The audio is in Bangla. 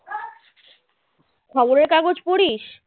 খবরের কাগজ পড়িস